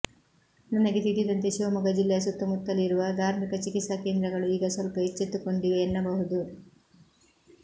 ನನಗೆ ತಿಳಿದಂತೆ ಶಿವಮೊಗ್ಗ ಜಿಲ್ಲೆಯ ಸುತ್ತಮುತ್ತಲಿರುವ ಧಾರ್ಮಿಕ ಚಿಕಿತ್ಸಾ ಕೇಂದ್ರಗಳು ಈಗ ಸ್ವಲ್ಪ ಎಚ್ಚೆತ್ತುಕೊಂಡಿವೆ ಎನ್ನಬಹುದು